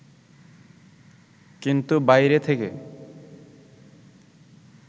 কিন্তু বাইরে থেকে